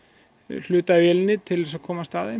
hluta af vélinni til að komast að þeim